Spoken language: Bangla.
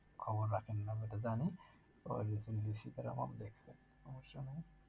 খবর রাখেন না সেটা জানি